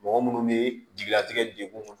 Mɔgɔ munnu be jigilatigɛ degun